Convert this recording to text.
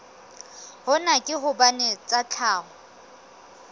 hona ke hobane tsa tlhaho